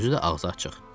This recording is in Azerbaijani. Özü də ağzı açıq.